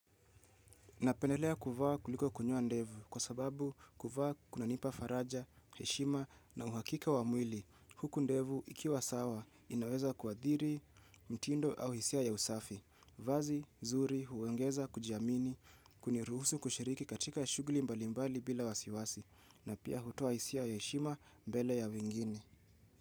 Napendelea kuvaa kuliko kunyoa ndevu kwa sababu kuvaa kunanipa faraja, heshima na uhakika wa mwili. Huku ndevu ikiwa sawa inaweza kuadhiri, mtindo au hisia ya usafi. Vazi nzuri huongeza kujiamini kuniruhusu kushiriki katika shughuli mbali mbali bila wasiwasi, na pia hutoa hisia ya heshima mbele ya wingine.